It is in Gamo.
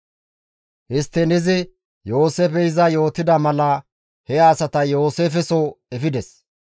Histtiin izi Yooseefey izas yootida mala he asata Yooseefeso efides.